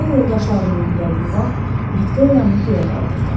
O yoldaşları mürgülədiyi vaxt Viktoriyanı göyə qaldırdı.